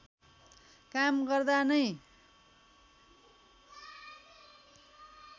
काम गर्दा नै